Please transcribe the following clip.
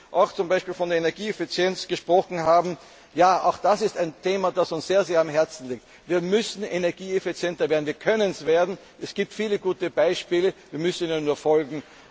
Wenn sie zum Beispiel auch von Energieeffizienz gesprochen haben Auch das ist ein Thema, das uns sehr am Herzen liegt. Wir müssen energieeffizienter werden, wir können es werden. Es gibt viele gute Beispiele, wir müssen ihnen nur